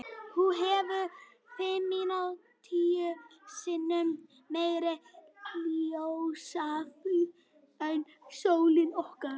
Hún hefur fimmtíu sinnum meira ljósafl en sólin okkar.